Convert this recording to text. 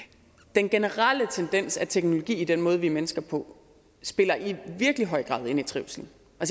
den generelle tendens med teknologien i den måde vi er mennesker på spiller i virkelig høj grad ind i trivselen